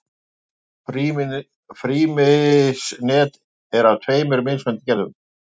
Frymisnet er af tveimur mismunandi gerðum.